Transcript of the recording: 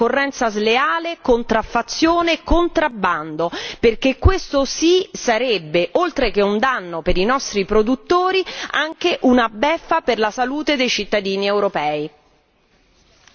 Attenzione alla concorrenza sleale, contraffazione, contrabbando, perché questo sì sarebbe, oltre che un danno per i nostri produttori, anche una beffa per la salute per la salute dei cittadini europei.